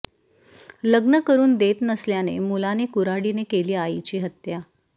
लग्न करुन देत नसल्याने मुलाने कुऱ्हाडीने केली आईची हत्या